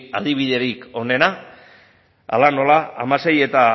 adibiderik onena hala nola hamasei eta